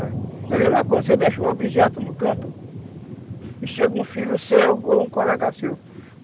É a mesma coisa, se eu deixo um objeto no canto e chega um filho seu ou um colega seu